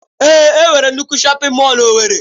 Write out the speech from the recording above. Èé, enwere nnukwu shọpin mọll n'Owerri.